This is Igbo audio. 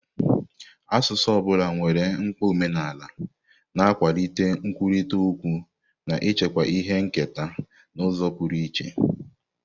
Asụsụ ọ bụla nwere mkpa omenala, na-akwalite nkwurịta okwu na ichekwa ihe nketa n'ụzọ pụrụ iche.